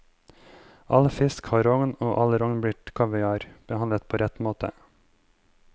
All fisk har rogn og all rogn blir kaviar, behandlet på rett måte.